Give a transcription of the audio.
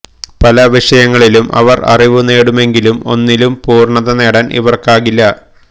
പല വിഷയങ്ങളിലും ഇവർ അറിവു നേടുമെങ്കിലും ഒന്നിലും പൂര്ണ്ണത നേടാൻ ഇവർക്കാകില്ല